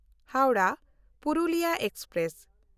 Howrah Purulia express